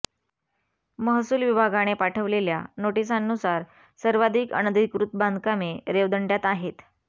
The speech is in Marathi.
महसूल विभागाने पाठवलेल्या नोटिसांनुसार सर्वाधिक अनधिकृत बांधकामे रेवदंडय़ात आहेत